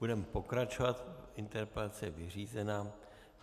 Budeme pokračovat, interpelace je vyřízena.